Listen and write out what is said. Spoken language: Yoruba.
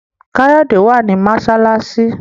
Kayode wá ní masalasi.